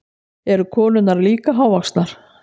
Eru konurnar líka hávaxnar?